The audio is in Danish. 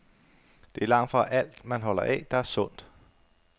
Det er langtfra alt, man holder af, der er sundt.